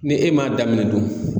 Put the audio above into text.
Ni e m'a daminɛ dun